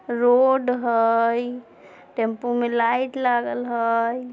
Road हेय tempo मे light लागल हय।